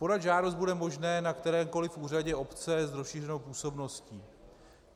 Podat žádost bude možné na kterémkoli úřadě obce s rozšířenou působností.